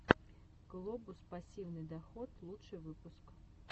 глобус пассивный доход лучший выпуск